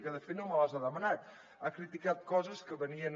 que de fet no me les ha demanat ha criticat coses que venien